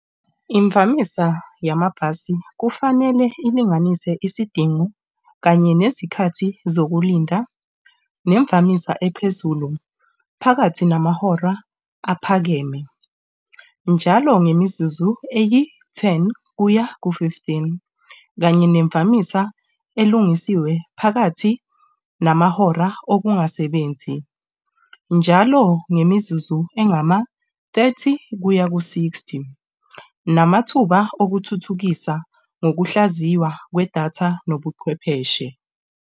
Imvamisa yamabhasi kufanele ilinganise isidingo kanye nezikhathi zokulinda nemvamisa ephezulu phakathi namahora aphakeme njalo ngemizuzu eyi-ten kuya ku-fifteen kanye nemvamisa elungisiwe phakathi namahora okungasebenzi njalo ngemizuzu engama-thirty kuya ku-sixty, namathuba okuthuthukisa nokuhlaziywa kwedatha nobuchwepheshe.